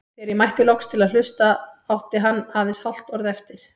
Þegar ég mætti loks til að hlusta átti hann aðeins hálft orð eftir.